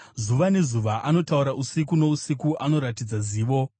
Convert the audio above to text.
Zuva nezuva anotaura; usiku nousiku anoratidza zivo.